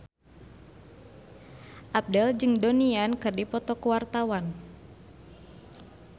Abdel jeung Donnie Yan keur dipoto ku wartawan